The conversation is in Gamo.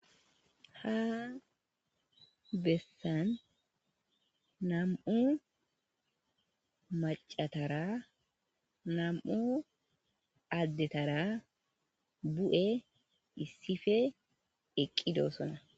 ha bessan nam7u macatara nam7u addetara bu7e issife eqqidosona